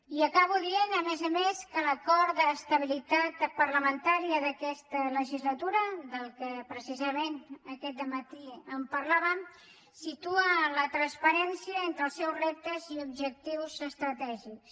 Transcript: i acabo dient a més a més que l’acord d’estabilitat parlamentària d’aquesta legislatura del qual precisament aquest matí parlàvem situa la transparència entre els seus reptes i objectius estratègics